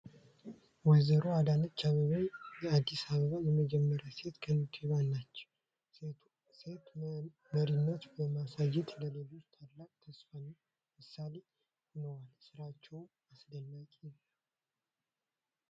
ወ/ሮ አዳነች አቤቤ የአዲስ አበባ የመጀመሪያዋ ሴት ከንቲባ ናቸው! ሴት መሪነትን በማሳየት፣ ለሌሎች ታላቅ ተስፋ እና ምሳሌ ሆነዋል። ስራቸው አስደናቂ ነው!